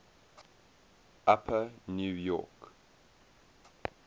upper new york